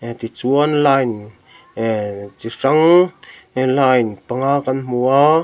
ti chuan line ehhh chi hrang in line panga kan hmu a.